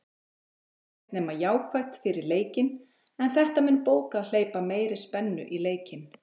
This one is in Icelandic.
Ekkert nema jákvætt fyrir leikinn, en þetta mun bókað hleypa meiri spennu í leikinn.